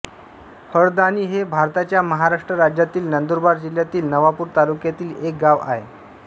हळदाणी हे भारताच्या महाराष्ट्र राज्यातील नंदुरबार जिल्ह्यातील नवापूर तालुक्यातील एक गाव आहे